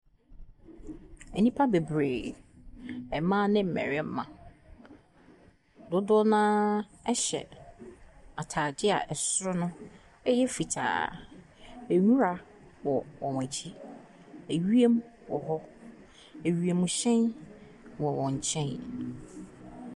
Nnipa bebree, mmaa ne mmarima. Dodoɔ no ara hyɛ atadeɛ a soro no yɛ fitaa. Nwura wɔ wɔn akyi. Ewiem wɔ hɔ. Wiemhyɛn wɔ wɔn nkyɛn.